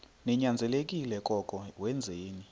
ninyanzelekile koko wenzeni